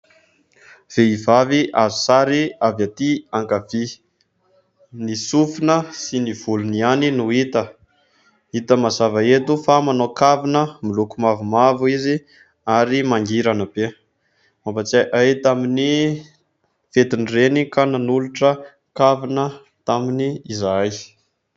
Vehivavy azo sary avy aty ankavia, ny sofina sy ny volony ihany no hita ,hita mazava eto fa manao kavina miloko mavomavo izy ary mangirana be ; mampatsiahy ahy tamin'ny fetin'ny reny ka nanolotra kavina taminy izahay.